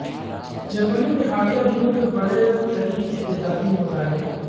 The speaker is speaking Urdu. جرمنی میں حالیہ دنوں کے بڑے ترین احتجاجی مظاہرے